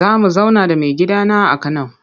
Za mu zauna da maigidana a Kano.